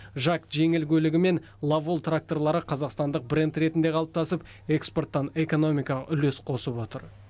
жак жеңіл көлігі мен ловол тракторлары қазақстандық брэнд ретінде қалыптасып экспорттан экономикаға үлес қосып отыр